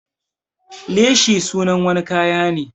Leshi sunan wani kaya ne.